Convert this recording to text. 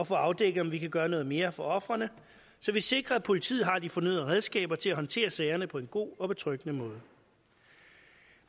få afdækket om vi kan gøre noget mere for ofrene så vi sikrer at politiet har de fornødne redskaber til at håndtere sagerne på en god og betryggende måde